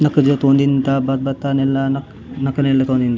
नक जौ तोंडिता बात - बता नेल्ला नक नेल्ला न तोदीन ता।.